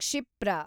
ಕ್ಷಿಪ್ರ